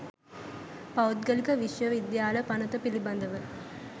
පෞද්ගලික විශ්ව විද්‍යාල පනත පිළීබඳව